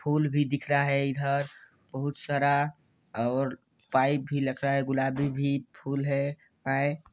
full भी दिख रहा है इधर बहुत सारा और पाइप भी लगा है गुलाबी भी फुल है आय --